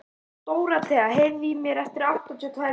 Dorothea, heyrðu í mér eftir áttatíu og tvær mínútur.